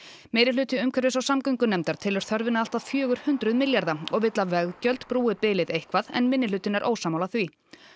meirihluti umhverfis og samgöngunefndar telur þörfina allt að fjögur hundruð milljarða og vill að veggjöld brúi bilið eitthvað en minnihlutinn er ósammála því